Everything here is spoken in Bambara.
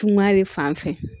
Tungare fan fɛ